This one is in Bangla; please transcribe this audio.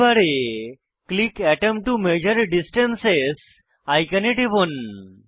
টুল বারে ক্লিক আতম টো মেজার ডিস্ট্যান্স আইকনে টিপুন